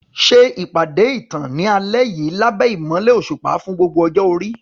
Ṣètò ìpàdé ìtàn ní alẹ́ yìí lábẹ́ ìmọ́lẹ̀ òṣùpá fún gbogbo ọjọ́ orí.